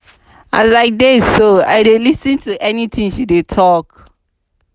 as i dey so i dey lis ten to any thing she dey talk.